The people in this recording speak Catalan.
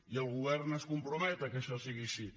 i el govern es compromet que això sigui així